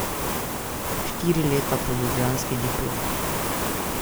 Štiri leta po ljubljanski diplomi.